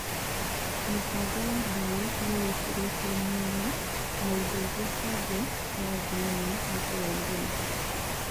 Mĩbango ya mbaũ nĩĩkĩrĩtwo mĩena na indo iria bange ya thĩinĩ wa njĩra ya irima